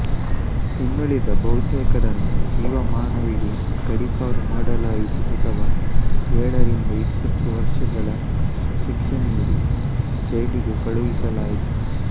ಇನ್ನುಳಿದ ಬಹತೇಕರನ್ನು ಜೀವಮಾನವಿಡೀ ಗಡೀಪಾರು ಮಾಡಲಾಯಿತು ಅಥವಾ ಏಳರಿಂದ ಇಪ್ಪತ್ತು ವರ್ಷಗಳ ಶಿಕ್ಷೆ ನೀಡಿ ಜೈಲಿಗೆ ಕಳುಹಿಸಲಾಯಿತು